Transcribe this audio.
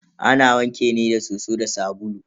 Ana wanke ne da soso da sabulu.